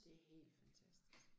Det helt fantastisk